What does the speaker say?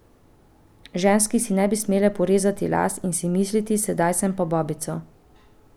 Ženske si ne bi smele porezati las in si misliti, sedaj sem pa babica.